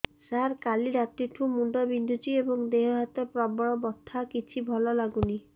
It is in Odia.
ସାର କାଲି ରାତିଠୁ ମୁଣ୍ଡ ବିନ୍ଧୁଛି ଏବଂ ଦେହ ହାତ ପ୍ରବଳ ବଥା କିଛି ଭଲ ଲାଗୁନି